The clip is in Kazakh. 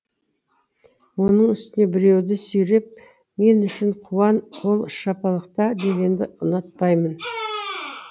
оның үстіне біреуді сүйреп мен үшін қуан қол шапалақта дегенді ұнатпаймын